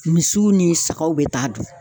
Misiw ni sagaw bɛ taa dun